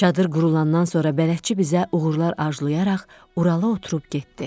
Çadır qurulandan sonra bələdçi bizə uğurlar arzulayaraq Urala oturub getdi.